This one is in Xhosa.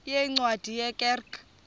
yeencwadi ye kerk